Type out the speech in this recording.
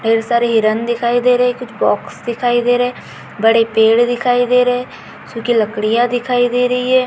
ढेर सारी हिरण दिखाई दे रहे कुछ बॉक्स दिखाई दे रहे बड़े पेड़ दिखाई दे रहे सुखी लकड़िया दिखाई दे रही है।